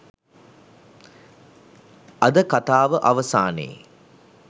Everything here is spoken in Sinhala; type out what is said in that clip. අද කතාව අවසානයේ